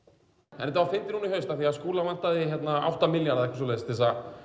en þetta var fyndið núna í haust af því að Skúla vantaði átta milljarða til